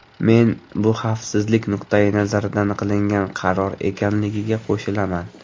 Men bu xavfsizlik nuqtai nazaridan qilingan qaror ekanligiga qo‘shilaman.